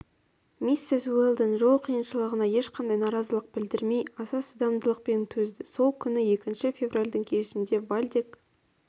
миссис уэлдон жол қиыншылығына ешқандай наразылық білдірмей аса шыдамдылықпен төзді сол күні екінші февральдің кешінде вальдек